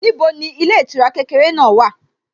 Níbo ni ilé ìtura kékeré náà wà?